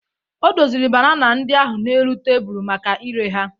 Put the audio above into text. O doziri banana ndị ahụ n'elu tebụl maka ire ha.